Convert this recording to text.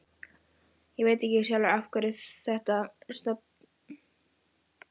Ég veit ekki sjálfur af hverju þetta stafar.